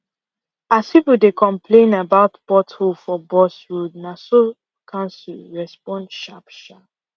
as people dey complain about pothole for bus road na so council respond sharp sharp